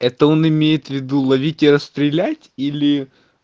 это он имеет в виду ловить и отстрелять или